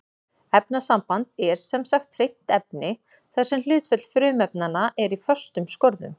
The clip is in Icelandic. Efnasamband er sem sagt hreint efni þar sem hlutföll frumefnanna er í föstum skorðum.